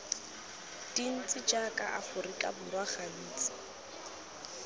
dintsi jaaka aforika borwa gantsi